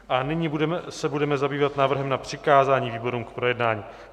A nyní se budeme zabývat návrhem na přikázání výborům k projednání.